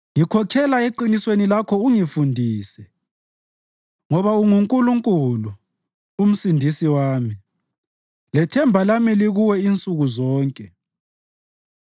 ngikhokhela eqinisweni Lakho ungifundise ngoba unguNkulunkulu, uMsindisi wami, lethemba lami likuwe insuku zonke.